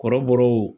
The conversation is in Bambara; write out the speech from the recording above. Kɔrɔbɔrɔw